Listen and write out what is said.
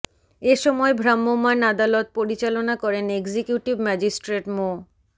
এ সময় ভ্রাম্যমাণ আদালত পরিচালনা করেন এক্সিকিউটিভ ম্যাজিস্ট্রেট মো